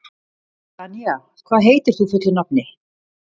Danía, hvað heitir þú fullu nafni?